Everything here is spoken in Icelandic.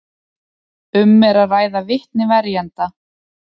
Um er að ræða vitni verjenda